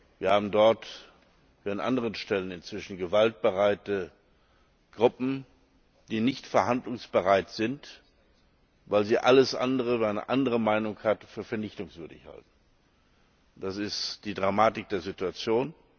Wir haben dort, wie an anderen Stellen, inzwischen gewaltbereite Gruppen, die nicht verhandlungsbereit sind, weil sie alles, was eine andere Meinung hat, für vernichtungswürdig halten. Das ist die Dramatik der Situation.